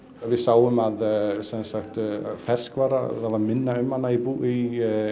við sáum að ferskvara það var minna um hana í